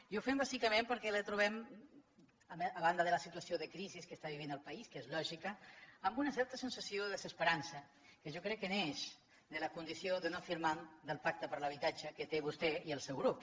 i ho fem bàsicament perquè la trobem a banda de la situació de crisi que està vivint el país que és lògica amb una certa sensació de desesperança que jo crec que neix de la condició de no firmant del pacte per a l’habitatge que té vostè i el seu grup